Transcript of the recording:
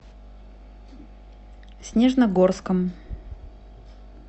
снежногорском